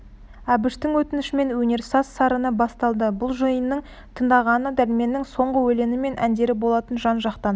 әбіштің өтінішімен өнер саз сарыны басталды бұл жиынның тыңдағаны дәрменнің соңғы өлеңі мен әндері болатын жан-жақтан